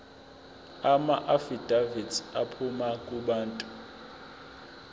amaafidavithi aphuma kubantu